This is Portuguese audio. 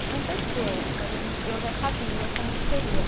Aconteceu, mas a gente, eu já sabia como que seria.